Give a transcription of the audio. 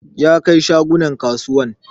Ya kai shagunan kasuwan